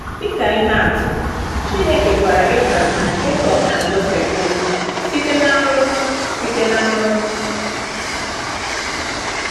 Dị ka ihe atụ, Chineke gwara Abraham, Jekọb, na Josef okwu site na nrọ. site na nrọ.